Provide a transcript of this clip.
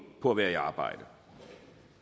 på at være i arbejde